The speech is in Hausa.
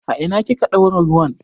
A ina kika ɗaura ruwan?